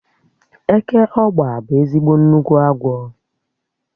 Eke ọ́gba bụ ezigbo nnukwu agwọ